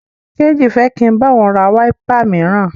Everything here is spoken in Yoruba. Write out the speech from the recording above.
Kéjì fẹ́ kí n bá òun ra wáípà míràn.